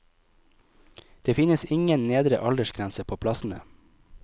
Det finnes ingen nedre aldersgrense på plassene.